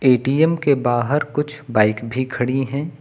ATM के बाहर कुछ बाइक भी खड़ी हैं।